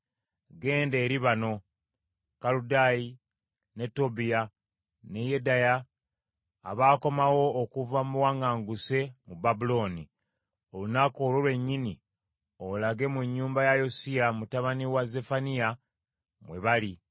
“Genda eri bano: Kerudayi, ne Tobiya, ne Yedaya, abaakomawo okuva mu buwaŋŋanguse mu Babulooni, olunaku olwo lwennyini olage mu nnyumba ya Yosiya, mutabani wa Zeffaniya, mwe bali.